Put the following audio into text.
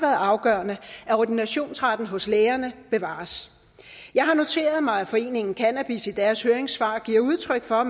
afgørende at ordinationsretten hos lægerne bevares jeg har noteret mig at foreningen cannabis danmark i deres høringssvar giver udtryk for at